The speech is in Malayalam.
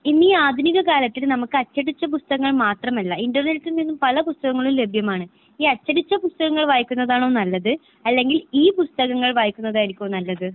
ഇനി ഈ ആധുനിക കാലത്തിൽ നമുക്ക് അച്ചടിച്ച പുസ്തകങ്ങൾ മാത്രമല്ല ഇന്റർനെറ്റിൽ നിന്നും പല പുസ്തകങ്ങളും ലഭ്യമാണ്. ഈ അച്ചടിച്ച പുസ്തകങ്ങൾ വായിക്കുന്നതാണോ നല്ലത് അല്ലെങ്കിൽ ഈ പുസ്തകങ്ങൾ വായിക്കുന്നതായിരിക്കുമോ നല്ലത്?